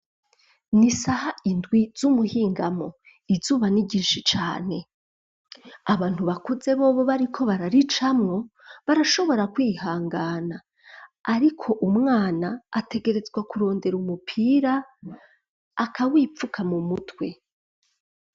Ni isaha indwi, z'umuhingamo; izuba ni ryinshi cane; abantu bakuze bobo, bariko bararicamwo, barashobora kwihangana; ariko umwana, ategerezwa kurondera umupira, akawipfuka, mu mutwe.